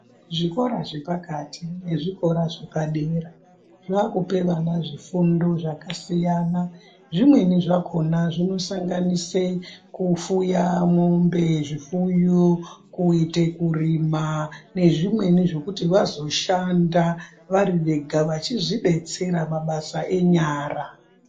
Zvikora zvepakati nezvikora zvepadera zvaakupera nazvifundo zvakasiyana zvimweni zvakhona zvinosanganise kufuya mwombe zvifuyo kuita kurima nezvimweni zvekuti vazoshanda vari vega vachizvibetsera mabasa enyara .